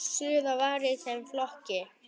Suður var í þeim flokki.